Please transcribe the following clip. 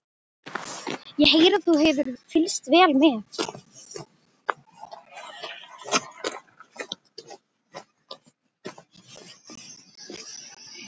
Ég heyri að þú hefur fylgst vel með.